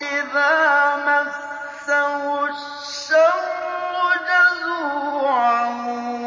إِذَا مَسَّهُ الشَّرُّ جَزُوعًا